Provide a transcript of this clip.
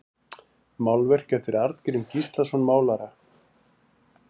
Málverk eftir Arngrím Gíslason málara